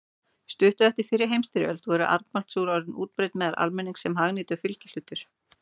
Stuttu eftir fyrri heimsstyrjöld voru armbandsúr orðin útbreidd meðal almennings sem hagnýtur fylgihlutur.